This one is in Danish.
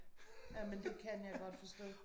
Ja jamen det kan jeg godt forstå